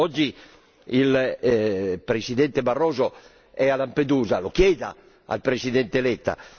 Oggi il Presidente Barroso è a Lampedusa lo chieda al Presidente Letta!